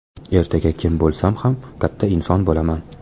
Ertaga kim bo‘lsam ham katta inson bo‘laman.